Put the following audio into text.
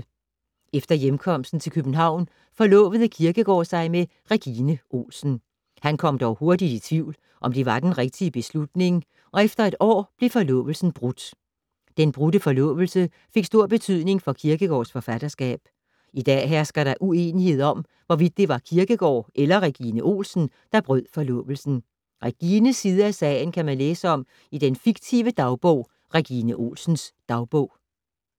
Efter hjemkomsten til København forlovede Kierkegaard sig med Regine Olsen. Han kom dog hurtigt i tvivl, om det var den rigtige beslutning, og efter et år blev forlovelsen brudt. Den brudte forlovelse fik stor betydning for Kierkegaards forfatterskab. I dag hersker der uenighed om, hvorvidt det var Kierkegaard eller Regine Olsen, der brød forlovelsen. Regines side af sagen kan man læse om i den fiktive dagbog Regine Olsens dagbog.